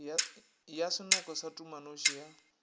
ya senoko sa tumanoši ya